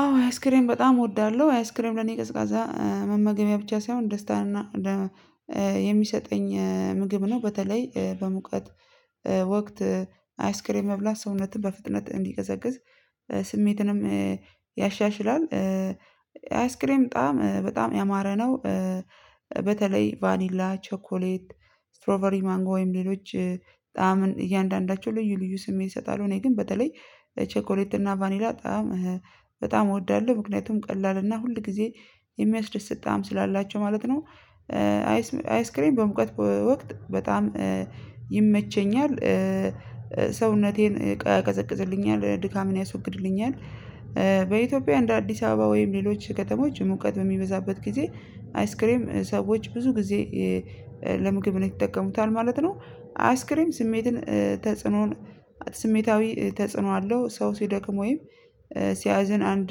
አዎ አይስክሬም በጣም እወዳለሁ አይስክሬም ለኔ ቀዝቃዛ መመገቢያ ብቻ ሳይሆን ደስታን እና የሚሰጠኝ ምግብ ነው በተለይ በሙቀት ወቅት አይስክሬም መብላት ሰውነትን በፍጥነት እንዲቀዘቅዝ ስሜትንም ያሻሽላል። አይስክሬም በጣም በጣም ያማረ ነው። በተለይ ቫኒላ ቸኮሌት ስትሮቨሪ ማንጓ ወይም ሌሎች ጣዕምን እያንዳንዳቸው ልዩ ልዩ ስሜት ይሰጣሉ። እኔ ግን በተለይ ቸኮሌት እና ቫኒላ ጣዕም በጣም በጣም እወዳለሁ ምክንያቱም ቀላል እና ሁል ጊዜ የሚያስደስት ጣዕም ስላላቸው ማለት ነው። አይስክሬን በሙቀት ወቅት በጣም ይመቸኛል ሰውነቴን ያቀዘቅዝልኛል ድካምን ያስወግድልኛል። በኢትዮጵያ እንደ አዲስ አበባ ወይም ሌሎች ከተሞች ሙቀት በሚበዛበት ጊዜ አይስክሬም ሰዎች ብዙ ጊዜ ለምግብ ነው የሚጠቀሙታል ማለት ነው። አይስክሬም ስሜትን ተጽዕኖን ስሜታዊ ተጽዕኖ አለው። ሰው ሲደክም ወይም ሲያዝን አንድ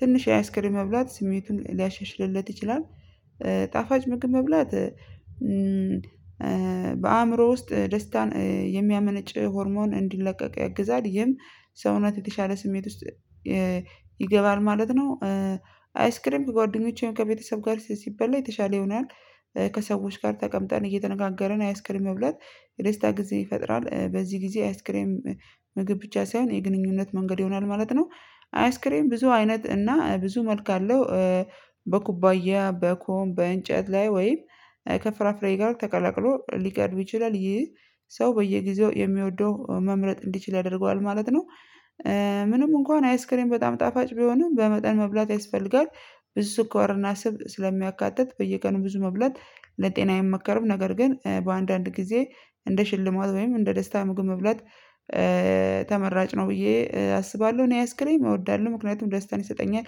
ትንሽ የአይስክሬም መብላት ስሜቱን ሊያሻሽልለት ይችላል። ጣፋጭ ምግብ መብላት በአእምሮ ውስጥ ደስታን የሚያመነጭ ሆርሞን እንዲለቀቅ ያግዛል ይህም ሰውነት የተሻለ ስሜት ውስጥ ይገባል ማለት ነው። አይስክሬም ከጓደኞቼም ከቤተሰብ ጋር ሲበላ የተሻለ ይሆናል። ከሰዎች ጋር ተቀምጠን እየተነጋገርን አይስክሬም መብላት የደስታ ጊዜ ይፈጥራል። በዚህ ጊዜ አይስክሬም ምግብ ብቻ ሳይሆን የግንኙነት መንገድ ይሆናል ማለት ነው። አይስክሬም ብዙ አይነት እና ብዙ መልክ አለው። በኩባያ በኮም በእንጨት ላይ ወይም ከፍራፍሬ ጋር ተቀላቅሎ ሊቀርብ ይችላል ይህ ሰው በየጊዜው የሚወደው መምረጥ እንዲችል ያደርገዋል ማለት ነው። ምንም እንኳን አይስክሬም በጣም ጣፋጭ ቢሆንም በመጠን መብላት ያስፈልጋል። ብዙ ኮርና ስብ ስለሚያካትት በየቀኑ ብዙ መብላት ለጤና አይመከረም። ነገር ግን በአንዳንድ ጊዜ እንደ ሽልማት ወይም እንደ ደስታ ምግብ መብላት ተመራጭ ነው ብዬ አስባለሁ። እኔ አያስክሬም እወዳለሁ ምክንያቱም ደስታን ይሰጠኛል።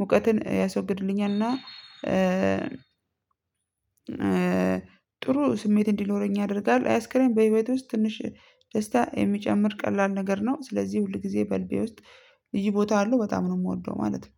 ሙቀትን ያስወግድልኛል እና ጥሩ ስሜት እንዲኖረኝ ያደርጋል። አያስክሬም በህይወቴ ውስጥ ትንሽ ደስታ የሚጨምር ቀላል ነገር ነው። ስለዚህ ሁል ጊዜ በልቤ ውስጥ ይሄ ቦታ አለው በጣም ነው የምወደው ማለት ነው።